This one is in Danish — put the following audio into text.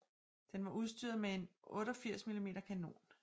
Den var udstyret med en 88 mm kanon